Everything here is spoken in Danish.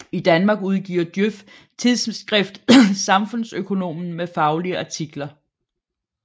I Danmark udgiver Djøf tidsskriftet Samfundsøkonomen med faglige artikler